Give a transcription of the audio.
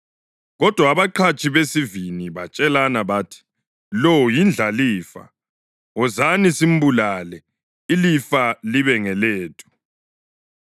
Kodwa abaqhatshi besivini batshelana bathi, ‘Lo yindlalifa. Wozani, simbulale, ilifa libe ngelethu.’